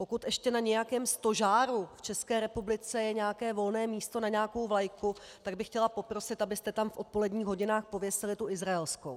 Pokud ještě na nějakém stožáru v České republice je nějaké volné místo na nějakou vlajku, tak bych chtěla poprosit, abyste tam v odpoledních hodinách pověsili tu izraelskou.